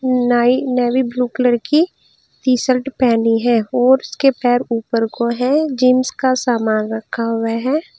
नाई ने navy blue colour की टी शर्ट पहनी है और उसके पैर ऊपर को है जींस का सामान रखा हुआ है।